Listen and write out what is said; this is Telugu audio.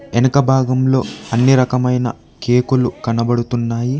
వెనుక భాగంలో అన్ని రకమైన కేకులు కనబడుతున్నాయి.